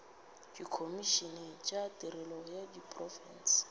dikhomišene tša tirelo ya diprofense